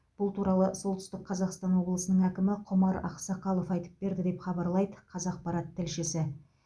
бұл туралы солтүстік қазақстан облысының әкімі құмар ақсақалов айтып берді деп хабарлайды қазақпарат тілшісі